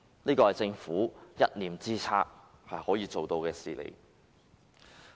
這是政府一念之間可以做到的事情。